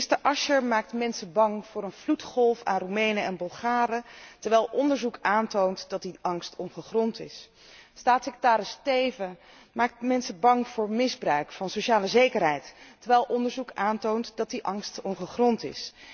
Minister Asscher maakt mensen bang voor een vloedgolf aan Roemenen en Bulgaren, terwijl onderzoek aantoont dat die angst ongegrond is. Staatssecretaris Teeven maakt mensen bang voor misbruik van sociale zekerheid, terwijl onderzoek aantoont dat die angst ongegrond is.